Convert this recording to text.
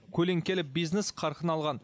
көлеңкелі бизнес қарқын алған